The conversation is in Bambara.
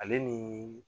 Ale ni